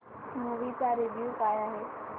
movie चा review काय आहे